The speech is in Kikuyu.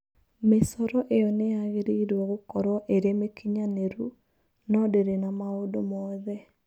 Mĩcoro ĩyo nĩ yagĩrĩirwo gũkorwo ĩrĩ mĩkinyanĩru, no ndĩrĩ na maũndũ mothe.